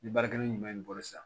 Ni baarakɛɲuman b'i bolo sisan